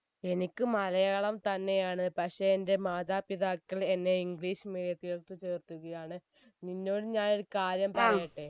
എനിക്ക് മലയാളം തന്നെയാണ് പക്ഷെ എന്റെ മാതാപിതാക്കൾ എന്നെ english medium ത്തിലേക്ക് ചേർത്തുകയാണ് നിന്നോട് ഞാൻ ഒരു കാര്യം പറയട്ടെ